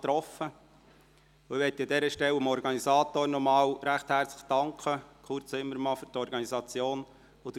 An dieser Stelle möchte ich dem Organisator, Kurt Zimmermann, und der Gemeinde Frutigen nochmals recht herzlich für die Organisation danken.